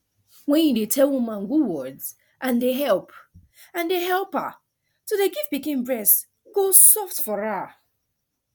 when you dey tell woman good words and dey help and dey help her to dey give pikin breast go soft for her